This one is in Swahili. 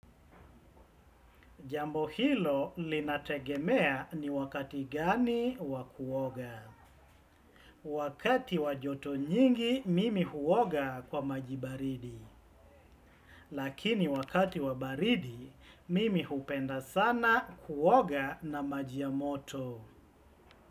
Jambo hilo linategemea ni wakati gani wa kuoga. Wakati wa joto nyingi mimi huoga kwa maji baridi. Lakini wakati wa baridi mimi hupenda sana kuoga na maji ya moto.